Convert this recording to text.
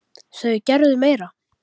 Þau gerðu meira.